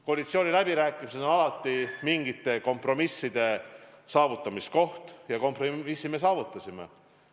Koalitsiooniläbirääkimised on alati mingite kompromisside saavutamise koht ja kompromissi me saavutasime.